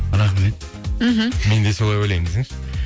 рахмет мхм мен де солай ойлаймын десеңші